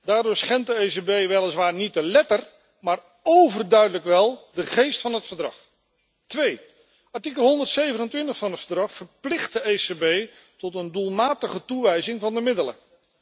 Daardoor schendt de ECB weliswaar niet de letter, maar óverduidelijk wel de geest van het Verdrag. Artikel 127 van het Verdrag verplicht de ECB tot een doelmatige toewijzing van de middelen.